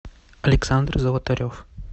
александр золотарев